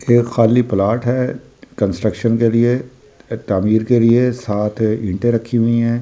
खाली प्लॉट है कंस्ट्रक्शन के लिए के लिए सात ईंटें रखी हुई हैं चार।